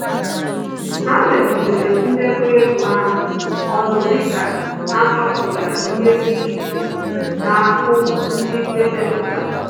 Ha melitere ndekọ ego ha ọnụ dịka ha chọpụtachara ihe dị iche na aku ndị edepụtara